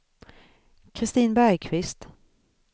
Kristin Bergkvist